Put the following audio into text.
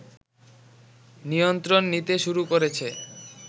নিয়ন্ত্রণ নিতে শুরু করেছে